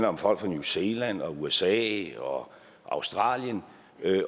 om folk fra new zealand usa og australien